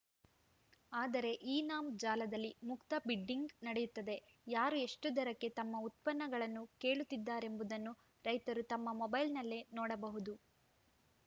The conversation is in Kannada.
ಆದರೆ ಇನಾಮ್‌ ಜಾಲದಲ್ಲಿ ಮುಕ್ತ ಬಿಡ್ಡಿಂಗ್‌ ನಡೆಯುತ್ತದೆ ಯಾರು ಎಷ್ಟುದರಕ್ಕೆ ತಮ್ಮ ಉತ್ಪನ್ನಗಳನ್ನು ಕೇಳುತ್ತಿದ್ದಾರೆಂಬುದನ್ನು ರೈತರು ತಮ್ಮ ಮೊಬೈಲ್‌ನಲ್ಲೇ ನೋಡಬಹುದು